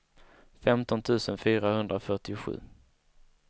femton tusen fyrahundrafyrtiosju